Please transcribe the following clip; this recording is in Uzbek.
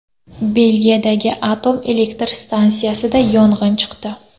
Belgiyadagi atom elektr stansiyasida yong‘in chiqdi.